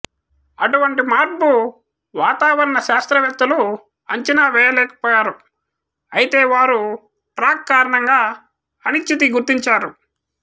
అటువంటి మార్పు వాతావరణ శాస్త్రవేత్తలు అంచనా వేయలేకపోయారు అయితే వారు ట్రాక్ కారణంగా అనిశ్చితి గుర్తించారు